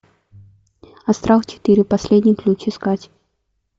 астрал четыре последний ключ искать